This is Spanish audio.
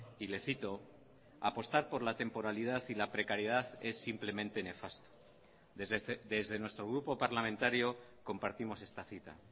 y le cito apostar por la temporalidad y la precariedad es simplemente nefasto desde nuestro grupo parlamentario compartimos esta cita